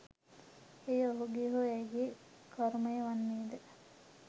එය ඔහුගේ හෝ ඇයගේ කරුමය වන්නේ ද?